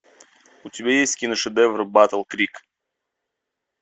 у тебя есть киношедевр батл крик